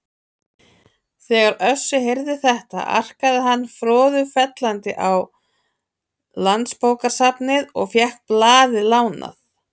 Þegar Össur heyrði þetta arkaði hann froðufellandi á Landsbókasafnið og fékk blaðið lánað.